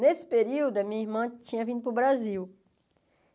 Nesse período, a minha irmã tinha vindo para o Brasil.